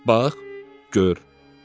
Özün bax, gör.